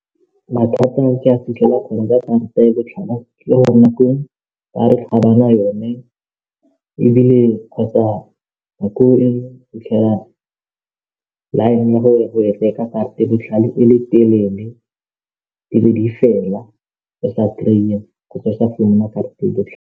Mathata a ke a fitlhela ka karata ya botlhale ke gore nako nngwe ba re ga ba na yone ebile kgotsa nako e nngwe fitlhela line karata e botlhale e le telele e be di fela o sa kry-a kgotsa o sa karata e botlhale.